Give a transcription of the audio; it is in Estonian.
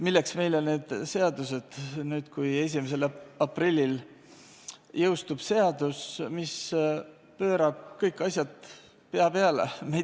Milleks meile need seaduseelnõud nüüd, kui 1. aprillil jõustub seadus, mis pöörab kõik asjad pea peale?